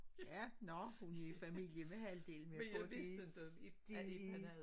Ja nå hun er i familie med halvdelen men jeg tror det det